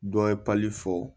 Dɔ ye fɔ